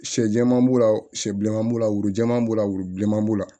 Sɛ jɛman b'o la sɛ bilenman b'o la wuru jɛman b'o la wuru bilenman b'o la